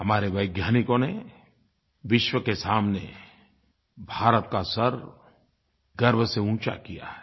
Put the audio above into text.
हमारे वैज्ञानिकों ने विश्व के सामने भारत का सर गर्व से ऊँचा किया है